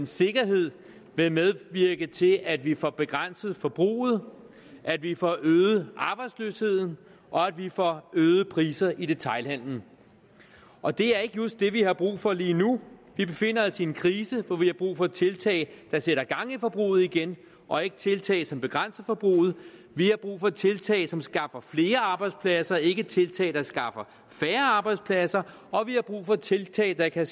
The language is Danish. sikkerhed vil medvirke til at vi får begrænset forbruget at vi får øget arbejdsløsheden og at vi får øgede priser i detailhandelen og det er ikke just det vi har brug for lige nu vi befinder os i en krise hvor vi har brug for tiltag der sætter gang i forbruget igen og ikke tiltag som begrænser forbruget vi har brug for tiltag som skaffer flere arbejdspladser ikke tiltag der skaffer færre arbejdspladser og vi har brug for tiltag der kan